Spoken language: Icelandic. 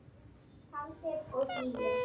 Kaldir og hlýir.